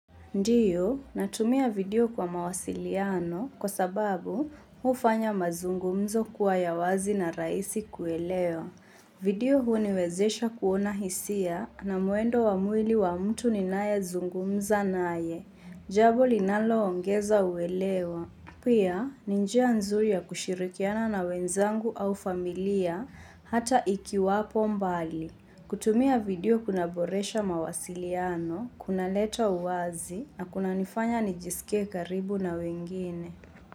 Ndiyo, natumia video kwa mawasiliano kwa sababu hufanya mazungumzo kuwa ya wazi na rahisi kuelewa. Video huniwezesha kuona hisia na mwendo wa mwili wa mtu ninazungumza naye, jambo linaloongeza uelewa. Pia, ni njia nzuri ya kushirikiana na wenzangu au familia hata ikiwapo mbali. Kutumia video kuna boresha mawasiliano, kuna leta uwazi na kunanifanya nijisikie karibu na wengine.